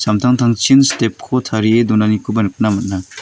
step-ko tarie donanikoba nikna man·a.